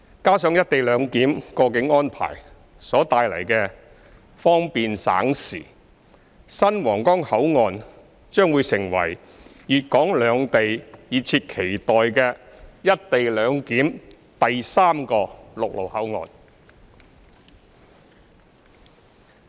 加上"一地兩檢"過境安排帶來的方便省時，新皇崗口岸將會成為粵港兩地熱切期待的"一地兩檢"第三個陸路口岸。